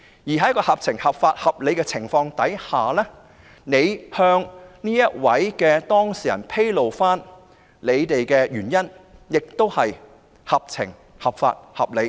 在一個合法、合情、合理的情況下，局長向有關當事人披露他們的原因，亦屬合法、合情、合理。